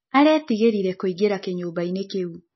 Aretĩĩgĩrĩre kũĩngĩra kĩnyũmbaĩnĩ kĩũ.